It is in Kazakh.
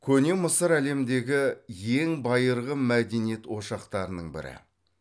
көне мысыр әлемдегі ең байырғы мәдениет ошақтарының бірі